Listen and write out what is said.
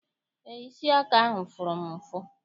Eé, isi aka ahụ fụrụ m ụfụ.